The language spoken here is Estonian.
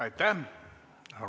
Aitäh!